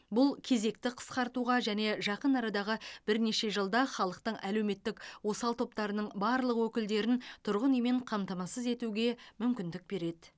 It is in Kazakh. бұл кезекті қысқартуға және жақын арадағы бірнеше жылда халықтың әлеуметтік осал топтарының барлық өкілдерін тұрғын үймен қамтамасыз етуге мүмкіндік береді